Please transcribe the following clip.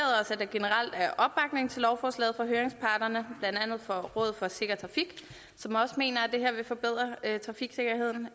lovforslaget fra høringsparterne blandt andet fra rådet for sikker trafik som også mener at det her vil forbedre trafiksikkerheden